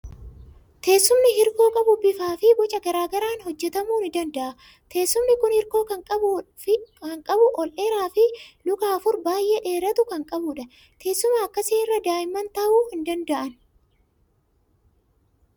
Teessumni hirkoo qabu bifaa fi boca garaa garaan hojjetamuu ni danda'a. Teessumni kun hirkoo kan qabu, ol dheeraa fi luka afur baay'ee dheeratu kan qabudha. Teessuma akkasii irra daa'imman taa'uu hin danda'ani!